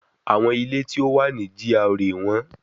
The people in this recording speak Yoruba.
Àwọn ilé tí ó wà ní GRA wọ́n